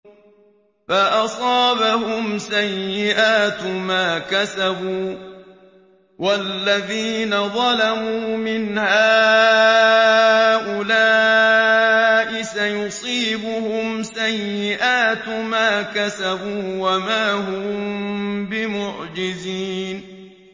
فَأَصَابَهُمْ سَيِّئَاتُ مَا كَسَبُوا ۚ وَالَّذِينَ ظَلَمُوا مِنْ هَٰؤُلَاءِ سَيُصِيبُهُمْ سَيِّئَاتُ مَا كَسَبُوا وَمَا هُم بِمُعْجِزِينَ